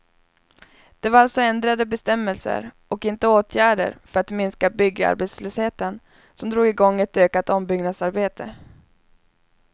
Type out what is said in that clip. Det var alltså ändrade bestämmelser och inte åtgärder för att minska byggarbetslösheten som drog igång ett ökat ombyggnadsarbete.